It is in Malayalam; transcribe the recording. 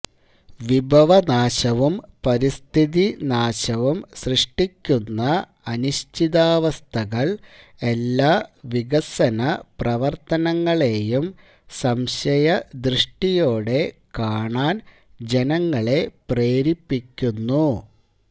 വിഭവനാശവും പരിസ്ഥിതി നാശവം സൃഷ്ടിക്കുന്ന അനിശ്ചിതാവസ്ഥകള് എല്ലാ വികസന പ്രവര്ത്തനങ്ങളേയും സംശയദൃഷ്ടിയോടെ കാണാന് ജനങ്ങളെ പ്രേരിപ്പിക്കുന്നു